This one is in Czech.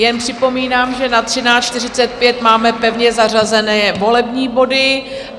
Jen připomínám, že na 13.45 máme pevně zařazené volební body.